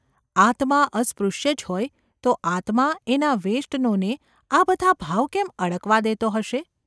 આત્મા અસ્પૃશ્ય જ હોય તો આત્મા એનાં વેષ્ટનોને આ બધા ભાવ કેમ અડકવા દેતો હશે?